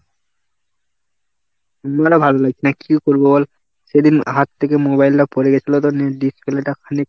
আমারও ভালো লাগছে না. কি করবো বল? সেদিন হাত থেকে mobile টা পড়ে গেছিলো তো, net display টা খানিক